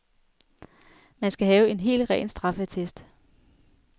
Man skal have en helt ren straffeattest.